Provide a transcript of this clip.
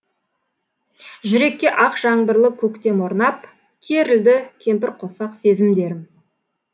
жүрекке ақ жаңбырлы көктем орнап керілді кемпірқосақ сезімдерім